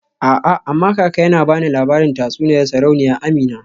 A'a amma kaka yana bani labarin tatsuniyar Sarauniya Amina.